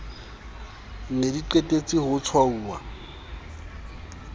ne di qetetse ho tshwauwa